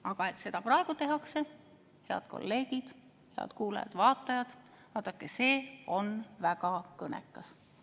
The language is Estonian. Aga et seda praegu tehakse, head kolleegid, head kuulajad-vaatajad, vaadake, see on väga kõnekas.